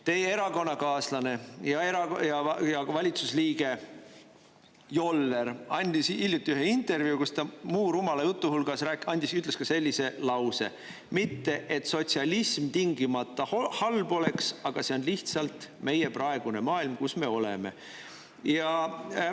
Teie erakonnakaaslane ja valitsusliige Joller andis hiljuti ühe intervjuu, kus ta muu rumala jutu hulgas ütles ka sellise lause: "Mitte et sotsialism tingimata halb oleks, aga see on lihtsalt meie praegune maailm, kus me oleme.